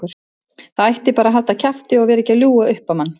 Það ætti bara að halda kjafti og vera ekki að ljúga upp á mann.